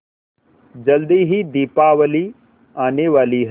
जल्दी ही दीपावली आने वाली है